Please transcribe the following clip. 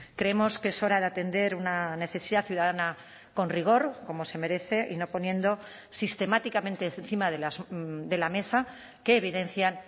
creemos que es hora de atender una necesidad ciudadana con rigor como se merece y no poniendo sistemáticamente encima de la mesa que evidencian